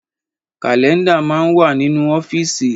Kálẹ́ndà máa ń wà nínú ọ́fíìsì